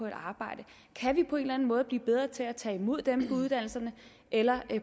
et arbejde kan vi på en eller anden måde blive bedre til at tage imod dem på uddannelserne eller